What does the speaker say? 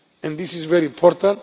ground. This is very important.